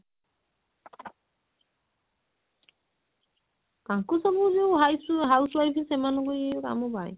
ତାଙ୍କୁ ସବୁ ଯଉ ହାଇ house wife ସେମାନଙ୍କୁ ଏଇ କାମ